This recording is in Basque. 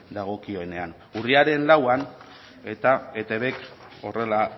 dagokionean urriaren lauan eta etbk horrela